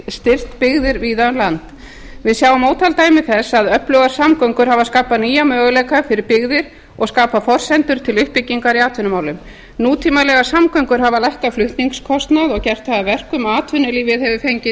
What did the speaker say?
styrkt byggðir víða um land við sjáum ótal dæmi þess að öflugar samgöngur hafa skapað nýja möguleika fyrir byggðir og skapað forsendur til uppbyggingar í atvinnumálum nútímalegar samgöngur hafa lækkað flutningskostnað og gert það að verkum að atvinnulífið hefur fengið